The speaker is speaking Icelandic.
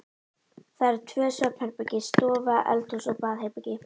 Það voru tvö svefnherbergi, stofa, eldhús og baðherbergi.